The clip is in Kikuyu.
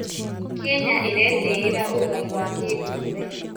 Kenya ĩretĩĩra ũgai wa kĩndũire.